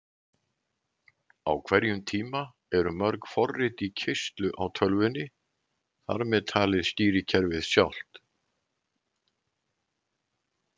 Á hverjum tíma eru mörg forrit í keyrslu á tölvunni, þar með talið stýrikerfið sjálft!